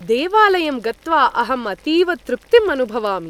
देवालयं गत्वा अहम् अतीव तृप्तिम् अनुभवामि।